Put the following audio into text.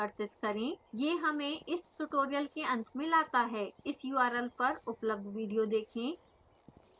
यह हमें इस ट्यूटोरियल के अंत में लाता है इस url पर उपलब्ध वीडियो देखें: